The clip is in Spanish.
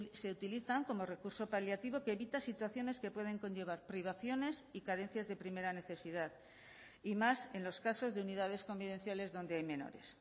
se utilizan como recurso paliativo que evita situaciones que pueden conllevar privaciones y carencias de primera necesidad y más en los casos de unidades convivenciales donde hay menores